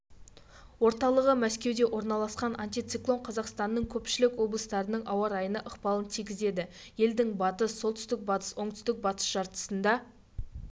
орталығы мәскеуде орналасқан антициклон қазақстанның көпшілік облыстарының ауа райына ықпалын тигізеді елдің батыс солтүстік-батыс оңтүстік-батыс жартысында